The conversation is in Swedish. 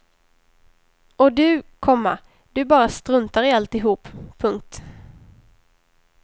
Och du, komma du bara struntar i alltihop. punkt